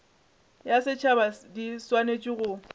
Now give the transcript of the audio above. ya setšhaba di swanetše go